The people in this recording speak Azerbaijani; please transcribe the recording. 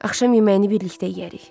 Axşam yeməyini birlikdə yeyərik.